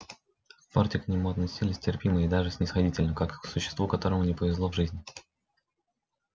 в форте к нему относились терпимо и даже снисходительно как к существу которому не повезло в жизни